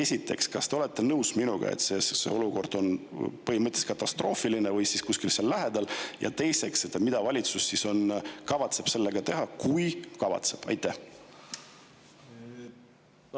Esiteks, kas te olete nõus minuga, et see olukord on katastroofiline või kuskil seal lähedal, ja teiseks, mida kavatseb valitsus teha, kui üldse kavatseb?